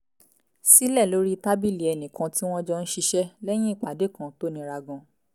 sílẹ̀ lórí tábìlì ẹnì kan tí wọ́n jọ ń ṣiṣẹ́ lẹ́yìn ìpàdé kan tó nira gan-an